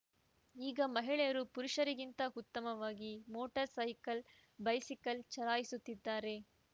ಈಗ ಮಹಿಳೆಯರು ಪುರುಷರಿಗಿಂತ ಉತ್ತಮವಾಗಿ ಮೋಟಾರ್‌ ಸೈಕಲ್‌ ಬೈಸಿಕಲ್‌ ಚಲಾಯಿಸುತ್ತಿದ್ದಾರೆ